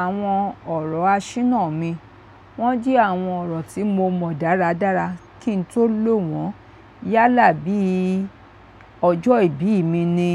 Àwọn ọ̀rọ̀ àṣìnnà mi, wọ́n jẹ́ àwọn ọ̀rọ̀ tí mo mọ dáradára kí n tó lò wọ́n. Yálà bí ọjọ́ ìbí mi ni